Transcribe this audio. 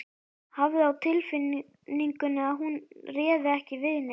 Hafði á tilfinningunni að hún réði ekki við neitt.